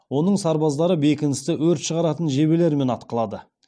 оның сарбаздары бекіністі өрт шығаратын жебелермен атқылады